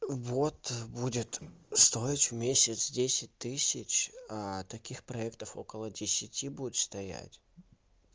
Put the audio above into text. вот будет стоить в месяц десять тысяч таких проектов около десяти будет стоять